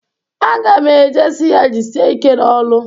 Aga m e je si ya jisie ike n'ọlụ.